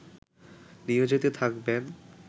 নিয়োজিত থাকবেন